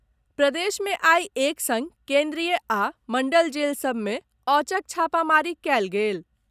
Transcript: प्रदेश मे आइ एक संग केन्द्रीय आ मंडल जेल सभ मे औचक छापामारी कयल गेल।